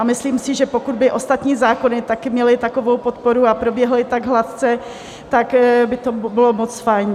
A myslím si, že pokud by ostatní zákony taky měly takovou podporu a proběhly tak hladce, tak by to bylo moc fajn.